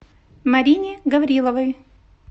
марине гавриловой